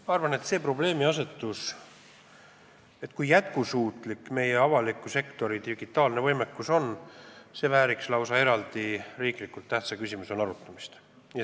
Ma arvan, et see probleemiasetus, kui jätkusuutlik on meie avaliku sektori digitaalne võimekus, vääriks lausa riiklikult tähtsa küsimusena arutamist.